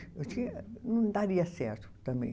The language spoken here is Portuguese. Não daria certo também.